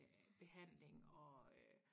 Øh behandling og øh